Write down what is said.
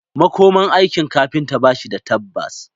Makomar aikin kafinta ba shi da tabbas